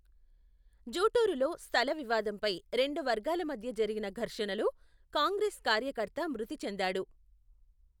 జూటూరులో, స్థల వివాదంపై, రెండు వర్గాల మధ్య జరిగిన ఘర్షణలో, కాంగ్రెస్ కార్యకర్త మృతి చెందాడు.